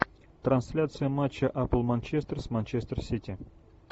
трансляция матча апл манчестер с манчестер сити